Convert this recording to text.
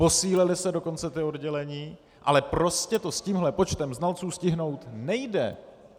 Posílila se dokonce ta oddělení, ale prostě to s tímhle počtem znalců stihnout nejde!